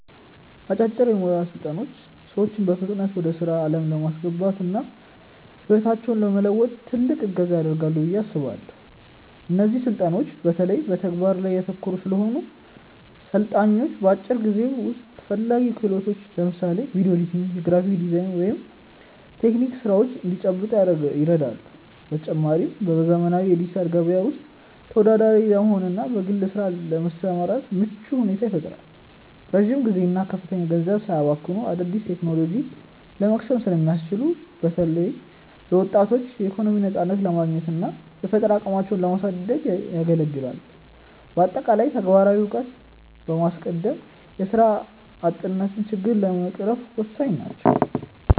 አጫጭር የሞያ ስልጠናዎች ሰዎችን በፍጥነት ወደ ስራ ዓለም ለማስገባትና ህይወታቸውን ለመለወጥ ትልቅ እገዛ ያደርጋሉ ብዬ አስባለው። እነዚህ ስልጠናዎች በተለይ በተግባር ላይ ያተኮሩ ስለሆኑ፣ ሰልጣኞች በአጭር ጊዜ ውስጥ ተፈላጊ ክህሎትን (ለምሳሌ ቪዲዮ ኤዲቲንግ፣ የግራፊክ ዲዛይን ወይም የቴክኒክ ስራዎች) እንዲጨብጡ ይረዳሉ። በተጨማሪም፣ በዘመናዊው የዲጂታል ገበያ ውስጥ ተወዳዳሪ ለመሆንና በግል ስራ ለመሰማራት ምቹ ሁኔታን ይፈጥራሉ። ረጅም ጊዜና ከፍተኛ ገንዘብ ሳያባክኑ አዳዲስ ቴክኖሎጂዎችን ለመቅሰም ስለሚያስችሉ፣ በተለይ ለወጣቶች የኢኮኖሚ ነፃነትን ለማግኘትና የፈጠራ አቅማቸውን ለማሳደግ ያገለግላሉ። በአጠቃላይ፣ ተግባራዊ እውቀትን በማስቀደም የስራ አጥነትን ችግር ለመቅረፍ ወሳኝ ናቸው።